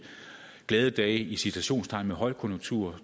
glade dage i citationstegn med højkonjunktur